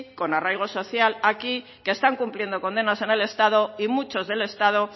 con arraigo social aquí que están cumpliendo condenas en el estado y muchos del estado